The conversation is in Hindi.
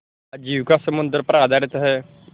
आजीविका समुद्र पर आधारित है